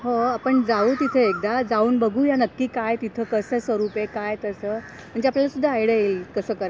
हो. आपण जाऊ तिथे एकदा जाऊन बघूया नक्की काय तिथं कसं स्वरूपें काय तसं म्हणजे आपल्याला सुद्धा आयडिया येईल कसं करायचं